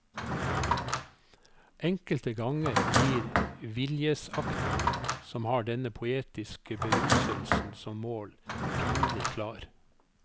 Enkelte ganger blir viljesakten, som har denne poetiske beruselsen som mål, pinlig klar.